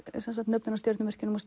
nöfnin á stjörnunum og